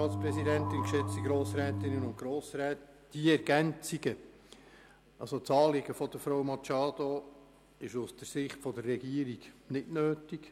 Diese Ergänzungen, also das Anliegen von Grossrätin Machado, sind aus der Sicht der Regierung nicht nötig.